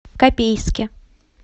копейске